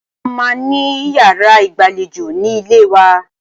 A máa ní yàrá ìgbàlejò ní ilẹ̀ wa.